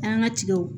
An ka tigaw